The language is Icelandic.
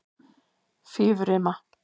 Fífurima